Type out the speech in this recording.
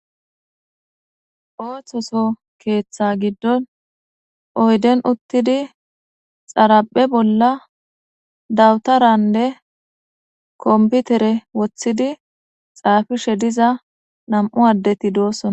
Ooththoso keeththa gidon oyden uttidi xaraphe bolla dawutaranne kompitire woththidi xaafishe diza nam7u addeti doosona.